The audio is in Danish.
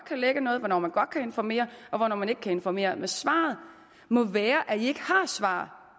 lække noget hvornår man godt kan informere og hvornår man ikke kan informere svaret må være at enhedslisten ikke har svar